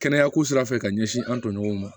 Kɛnɛya ko sira fɛ ka ɲɛsin an tɔɲɔgɔnw ma